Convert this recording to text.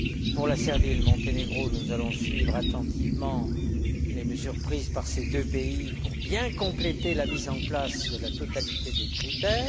Pour la Serbie et le Monténégro, nous allons suivre attentivement les mesures prises par ces deux pays pour bien compléter la mise en place de la totalité des critères.